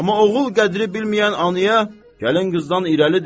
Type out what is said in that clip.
Amma oğul qədri bilməyən anaya gəlin qızdan irəlidir.